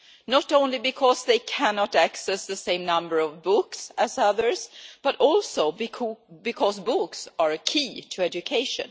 Not only because they cannot access the same number of books as others but also because books are a key to education.